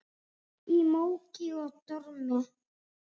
Í móki og dormi.